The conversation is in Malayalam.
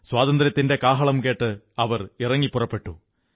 സ്വാതന്ത്ര്യത്തിന്റെ കാഹളം കേട്ട് അവർ ഇറങ്ങിപ്പുറപ്പെട്ടു